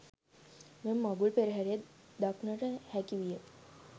මෙම මඟුල් පෙරහරේ දක්නට හැකි විය.